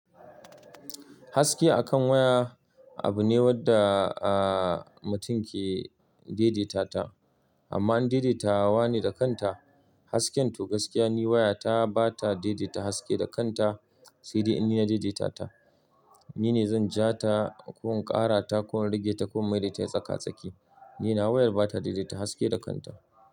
Haski akan waya abu ne wanda mutum ke daidaitata, amma in daidaitawa ne da kanta, hasken to gaskiya ne waya ta bata daidaita haske da kanta. Sai dai in nina daidaitata, nine zan ja ta ko in ƙara ta ko in rage ta ko in maida ta ya tsaka-tsaki. Ninawa wayar bata daidaita haske da kanta.